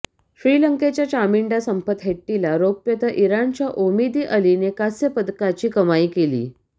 श्रीलंकेच्या चामिंडा संपथ हेट्टीला रौप्य तर इराणच्या ओमिदी अलीने कांस्य पदकाची कमाई केली